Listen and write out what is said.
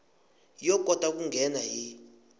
ya kota ku nghena hi